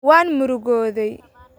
Waan murugooday.